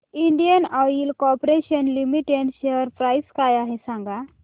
Indian oil corporation limited share price काय आहे सांगा